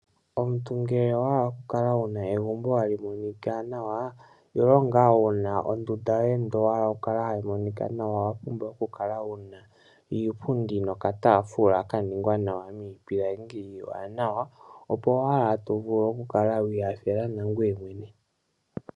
Omuntu ngele owahala okukala wuna egumbo hali monika nawa ile nga wuna ondunda yo ye nde owahala yi kale hayi monika nawa, owa pumbwa okukala wuna iipundi nokatafula ka ningwa nawa miipilangi iiwana opo wala to vulu okukala wi hafela nangwe mwene.